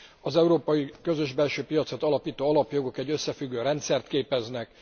Az európai közös belső piacot alapító alapjogok egy összefüggő rendszert képeznek.